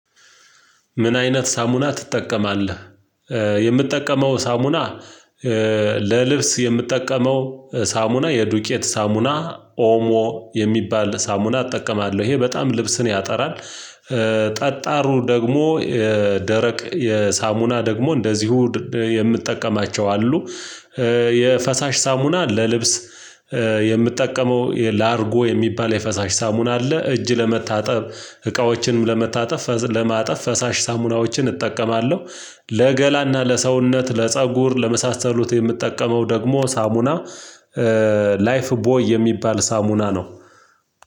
ምን አይነት ሳሙና ትጠቀማለህ የምትጠቀመው ሳሙና? ለልብስ የምጠቀመው ሳሙና የዱቄት ሳሙና ኦሞ የሚባል ሳሙና እጠቀማለሁ ይሄ በጣም ልብስን ያጠራል። ጠጣሩ ደግሞ የደረቅ የሳሙና ደግሞ እንደዚሁ የምጠቀማቸው አሉ። የፈሳሽ ሳሙና ለልብስ የምጠቀመው የላርጎ የሚባል የፈሳሽ ሳሙና አለ። እጅ ለመታጠብ እቃዎችንም ለመታጠብ ለማጠብ ፈሳሽ ሳሙናዎችን እጠቀማለሁ። ለገላና ለሰውነት ለፀጉር ለመሳሰሉት የምጠቀመው ደግሞ ሳሙና። ላይፍ ቦይ የሚባል ሳሙና ነው።